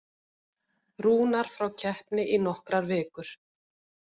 Rúnar frá keppni í nokkrar vikur